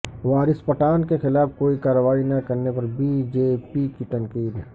وارث پٹھان کیخلاف کوئی کارروائی نہ کرنے پر بی جے پی کی تنقید